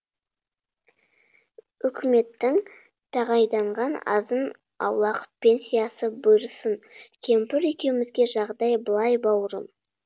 өкіметтің тағайданған азын аулақ пенсиясы бұйырсын кемпір екеумізге жағдай былай бауырым